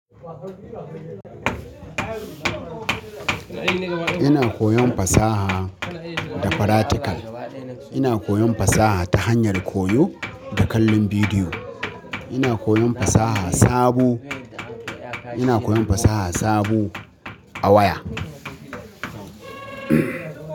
Ina koyon fasaha da faratikal. Ina koyon fasaha ta hanyar koyo da kallon bidiyo. Ina koyon fasaha sabo. Ina koyon fasaha sabo a waya.